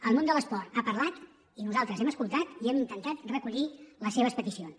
el món de l’esport ha parlat i nosaltres hem escoltat i hem intentat recollir les seves peticions